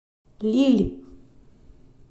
лилль